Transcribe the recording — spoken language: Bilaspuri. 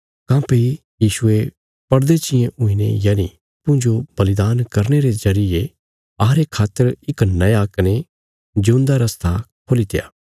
काँह्भई यीशुये पड़दे चींये हुईने यनि अप्पूँजो बलिदान करने रे जरिये अहांरे खातर इक नया कने जिऊंदा रस्ता खोलीत्या